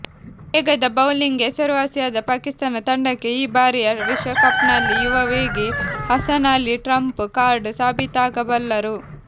ವೇಗದ ಬೌಲಿಂಗ್ಗೆ ಹೆಸರುವಾಸಿಯಾದ ಪಾಕಿಸ್ತಾನ ತಂಡಕ್ಕೆ ಈ ಬಾರಿಯ ವಿಶ್ವಕಪ್ನಲ್ಲಿ ಯುವ ವೇಗಿ ಹಸನ್ ಅಲಿ ಟ್ರಂಪ್ ಕಾರ್ಡ್ ಸಾಬೀತಾಗಬಲ್ಲರು